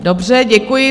Dobře, děkuji.